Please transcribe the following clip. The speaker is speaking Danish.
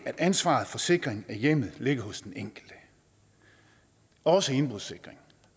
at ansvaret for sikring af hjemmet ligger hos den enkelte også indbrudssikring